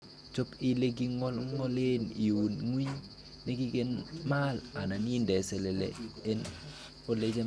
Chob ele kingolngolen iun ngwiny nekikimaal anan indee selele en ele jambas.